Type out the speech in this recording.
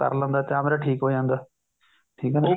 ਕਰ ਲੇਦਾ ਕਿਆ ਮੇਰਾ ਠੀਕ ਹੋ ਜਾਂਦਾ ਠੀਕ ਹੈ ਨਾ